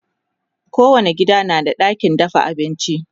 kowani gida na da ɗakin dafa abinci